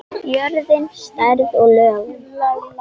Jörðin, stærð og lögun